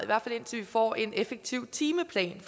hvert fald indtil vi får en effektiv timeplan